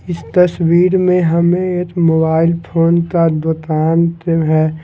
इस तस्वीर में हमें एक मोबाइल फोन का दुकान है।